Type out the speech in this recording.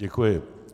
Děkuji.